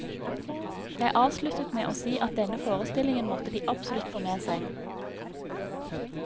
Jeg avsluttet med å si at denne forestillingen måtte de absolutt få med seg.